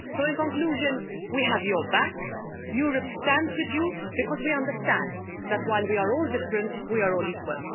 So in conclusion, we have your back Europe stands with you because we understand that while we are all different, we are all equal.